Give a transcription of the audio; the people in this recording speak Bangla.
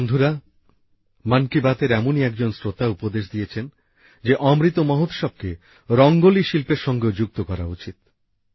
বন্ধুরা মন কি বাতএর এমনই একজন শ্রোতা উপদেশ দিয়েছেন যে অমৃত মহোৎসবকে রঙ্গোলি শিল্পের সঙ্গেও যুক্ত করা উচিত